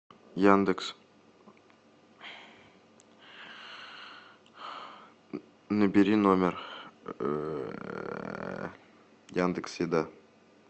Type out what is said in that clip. яндекс набери номер яндекс еда